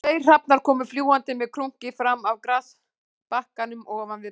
Tveir hrafnar komu fljúgandi með krunki fram af grasbakkanum ofan við braggana